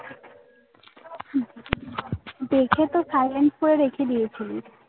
দেখে তো silent করে রেখে দিয়েছিলিস